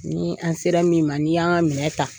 Nii an' sera min ma, n'i y'a ŋa minɛ ta